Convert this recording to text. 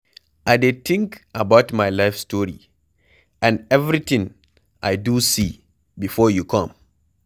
I dey think about my life story and everything I do see before you come